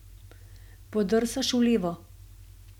Podrsaš v levo.